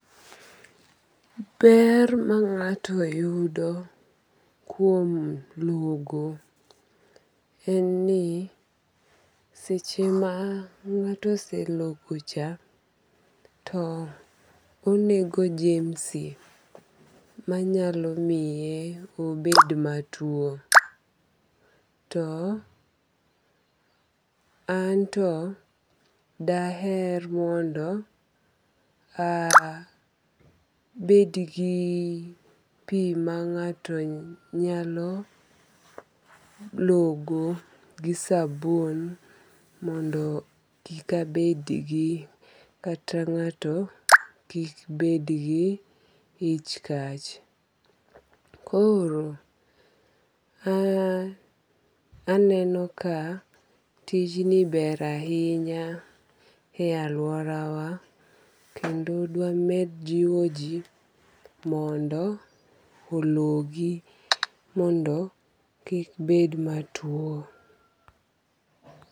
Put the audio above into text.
Ber ma ng'ato yudo kuom logo en ni seche ma ng'ato oselogo cha to onego jemsi manyalo miye obed matuo. To anto daher mondo aaa, abed gi pii mang'ato nyalo logo gi sabun mondo kik abedgi kata ng'ato kik bedgi ich kach. Koro aaa, aneno ka tijni ber ainya e aluorawa kendo dwamed jiwo jii mondo ologi mondo kik bed matuo.